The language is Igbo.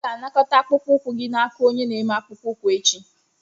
M ga-anakọta akpụkpọ ụkwụ gị n'aka onye na-eme akpụkpọ ụkwụ echi.